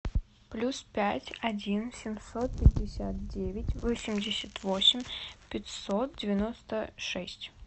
плюс пять один семьсот пятьдесят девять восемьдесят восемь пятьсот девяносто шесть